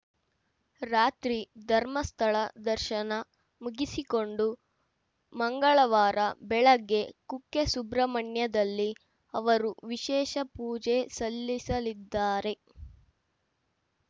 ರಾತ್ರಿ ಧರ್ಮಸ್ಥಳ ದರ್ಶನ ಮುಗಿಸಿಕೊಂಡು ಮಂಗಳವಾರ ಬೆಳಗ್ಗೆ ಕುಕ್ಕೆಸುಬ್ರಹ್ಮಣ್ಯದಲ್ಲಿ ಅವರು ವಿಶೇಷ ಪೂಜೆ ಸಲ್ಲಿಸಲಿದ್ದಾರೆ